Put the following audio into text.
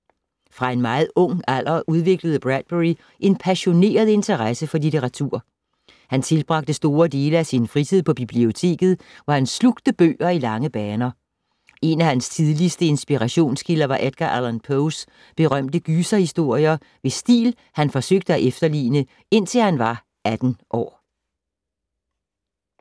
Fra en meget ung alder udviklede Bradbury en passioneret interesse for litteratur. Han tilbragte store dele af sin fritid på biblioteket, hvor han slugte bøger i lange baner. En af hans tidligste inspirationskilder var Edgar Allan Poes berømte gyserhistorier, hvis stil han forsøgte at efterligne indtil han var 18 år.